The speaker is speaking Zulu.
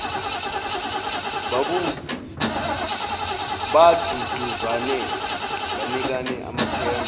baduduzane banikane amathemba